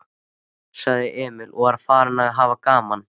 sagði Emil og var farinn að hafa gaman af.